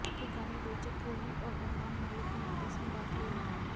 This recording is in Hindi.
बाकी गाने रोचक कोहली और अरमान मालिक ने आपस में बांट लिए हैं